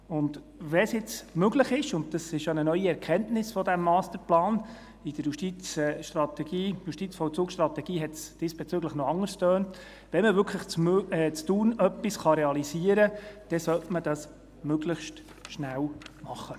Und wenn es jetzt möglich ist – und dies ist ja eine neue Erkenntnis des Masterplans, in der JVS tönte es diesbezüglich noch anders –, in Thun wirklich etwas zu realisieren, dann sollte man dies möglichst schnell tun.